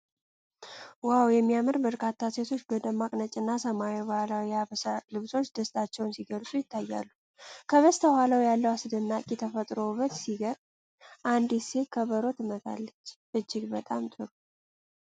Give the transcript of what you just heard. ዋው፣ የሚያምር! በርካታ ሴቶች በደማቅ ነጭና ሰማያዊ ባህላዊ የሀበሻ ልብሶች ደስታቸውን ሲገልጹ ይታያሉ። ከበስተኋላው ያለው አስደናቂ ተፈጥሮ ውበት ሲገርም አንዲት ሴት ከበሮ ትመታለች። እጅግ በጣም ጥሩ!